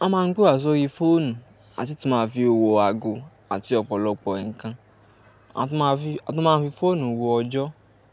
Won máa ń pe wa sórí fóònù, a sì tún máa ń fi wo ago àti ọ̀pọ̀lọpọ̀ ǹkan. A tún máa ń fi, a tún máa ń fi fóònù wo ọjọ́